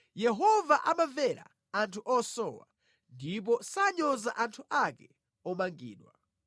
Yehova amamvera anthu osowa ndipo sanyoza anthu ake omangidwa.